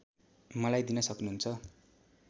मलाई दिन सक्नहुन्छ